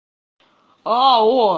а о